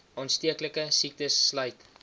aansteeklike siektes sluit